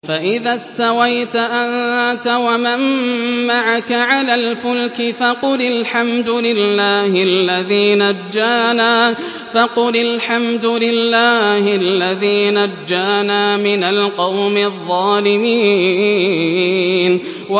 فَإِذَا اسْتَوَيْتَ أَنتَ وَمَن مَّعَكَ عَلَى الْفُلْكِ فَقُلِ الْحَمْدُ لِلَّهِ الَّذِي نَجَّانَا مِنَ الْقَوْمِ الظَّالِمِينَ